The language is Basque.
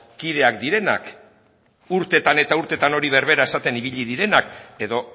kideak direnak urteetan eta urteetan hori berbera esaten ibili direnak edo